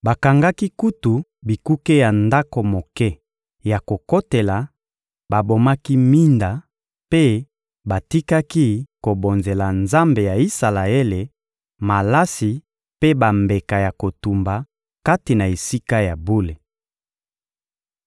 Bakangaki kutu bikuke ya ndako moke ya kokotela, babomaki minda mpe batikaki kobonzela Nzambe ya Isalaele malasi mpe bambeka ya kotumba kati na Esika ya bule.